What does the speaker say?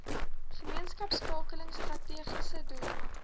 gemeenskapskakeling strategiese doel